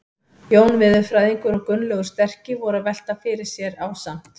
Jón veðurfræðingur og Gunnlaugur sterki voru að velta fyrir sér ásamt